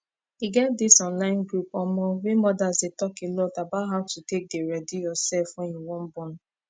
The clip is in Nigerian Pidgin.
e get this online group omo wey modas dey talk alot about how to take dey ready yourself wen you wan born